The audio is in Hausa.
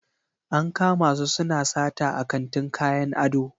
An kama su suna sata a kantin kayan ado.